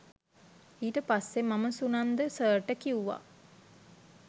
ඊට පස්සේ මම සුනන්ද සර්ට කිව්වා